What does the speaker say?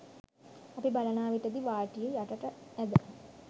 අපි බලනා විට දි වාටිය යටට ඇද